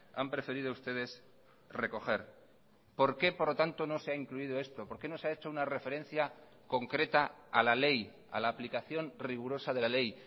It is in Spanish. han preferido ustedes recoger por qué por lo tanto no se ha incluido esto por qué no se ha hecho una referencia concreta a la ley a la aplicación rigurosa de la ley